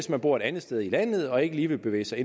der bor et andet sted i landet og ikke lige vil bevæge sig